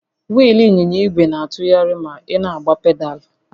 Wịịlụ ịnyịnya ìgwè na-atụgharị ma ị na-agba pedaalụ?